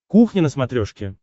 кухня на смотрешке